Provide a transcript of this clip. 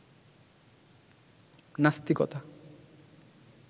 নাস্তিকতা